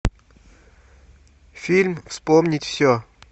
фильм вспомнить все